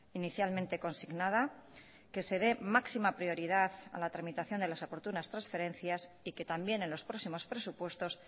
inicialmente consignada que se dé máxima prioridad a la tramitación de las oportunas transferencias y que también en los próximos presupuestos